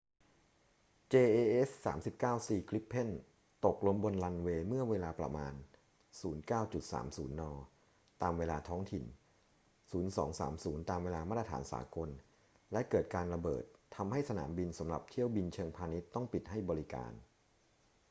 jas 39c gripen ตกลงบนรันเวย์เมื่อเวลาประมาณ 09.30 น. ตามเวลาท้องถิ่น 0230 ตามเวลามาตรฐานสากล และเกิดการระเบิด ทำให้สนามบินสำหรับเที่ยวบินเชิงพาณิชย์ต้องปิดให้บริการ